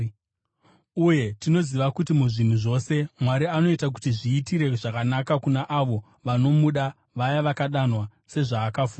Uye tinoziva kuti muzvinhu zvose Mwari anoita kuti zviitire zvakanaka kuna avo vanomuda, vaya vakadanwa sezvaakafunga.